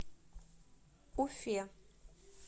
уфе